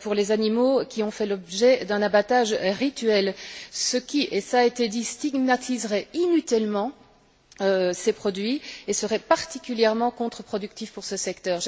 pour les animaux qui ont fait l'objet d'un abattage rituel, ce qui et cela a été dit stigmatiserait inutilement ces produits et serait particulièrement contreproductif pour ce secteur.